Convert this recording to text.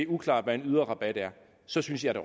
uklart hvad en yderrabat er så synes jeg